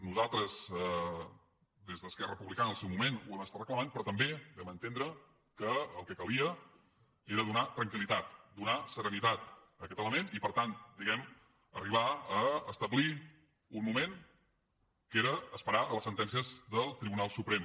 nosaltres des d’esquerra republicana en el seu moment ho hem estat reclamant però també vam entendre que el que calia era donar tranquil·litat donar serenitat a aquest element i per tant diguem ne arribar a establir un moment que era esperar les sentències del tribunal suprem